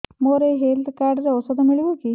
ମୋର ଏଇ health card ରେ ଔଷଧ ମିଳିବ କି